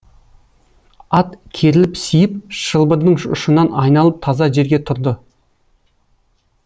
ат керіліп сиіп шылбырдың ұшынан айналып таза жерге тұрды